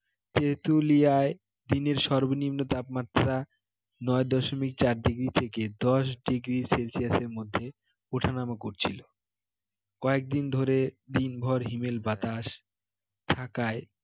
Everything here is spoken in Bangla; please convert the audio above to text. তেঁতুলিয়ায় দিনের সর্বনিম্ন তাপমাত্রা নয় দশমিক চার degree থেকে দশ degree celsius মধ্যে ওঠানামা করছিল কয়েকদিন ধরে দিনভর হিমেল বাতাস থাকায়